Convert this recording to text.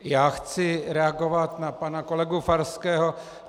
Já chci reagovat na pana kolegu Farského.